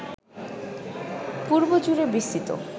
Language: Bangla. পূর্ব জুড়ে বিস্তৃত